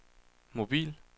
mobil